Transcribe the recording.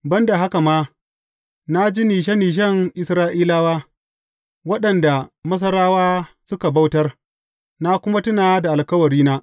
Ban da haka ma, na ji nishe nishen Isra’ilawa, waɗanda Masarawa suka bautar, na kuma tuna da alkawarina.